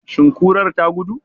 Shin kurar ta gudu?